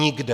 Nikde.